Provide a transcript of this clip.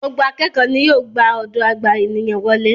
Gbogbo àkẹ́kọ ni yíò gbà ọdọ agba ènìyàn wole.